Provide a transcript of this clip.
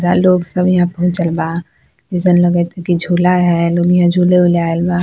बड़ा लोग सब यहाँ पहुँचल बा जइसन लगएत हेय की झुला हेय नुनिया झुले उले आइल बा।